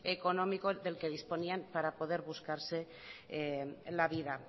económico del que disponían para poder buscarse la vida